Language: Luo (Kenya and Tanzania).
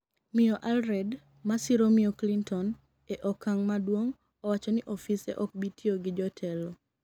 miyo Allred, masiro miyo Clinton e okang' maduong' owacho ni ofise ok bi tiyo gi jotelo